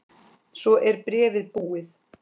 Svo er bréfið búið